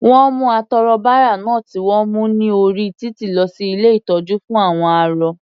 Wọ́n mú atọrọbárà náà tí wọ́n mú ní orí títì lọ sí ilé ìtọ́jú fún àwọn arọ.